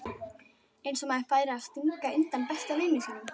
Eins og maður færi að stinga undan besta vini sínum!